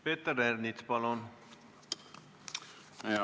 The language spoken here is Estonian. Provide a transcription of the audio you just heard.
Peeter Ernits, palun!